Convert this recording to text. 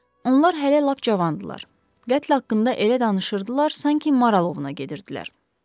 Onlar hələ lap cavandırlar, qətl haqqında elə danışırdılar, sanki maral ovuna gedirdilər.